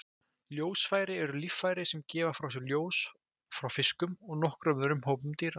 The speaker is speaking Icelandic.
Ljósfæri eru líffæri sem gefa frá sér ljós hjá fiskum og nokkrum öðrum hópum dýra.